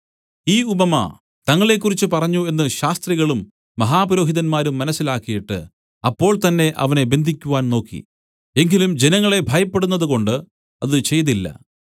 ഈ ഉപമ തങ്ങളെക്കുറിച്ച് പറഞ്ഞു എന്നു ശാസ്ത്രികളും മഹാപുരോഹിതന്മാരും മനസ്സിലാക്കിയിട്ട് അപ്പോൾ തന്നേ അവനെ ബന്ധിയ്ക്കുവാൻ നോക്കി എങ്കിലും ജനങ്ങളെ ഭയപ്പെടുന്നതു കൊണ്ട് അത് ചെയ്തില്ല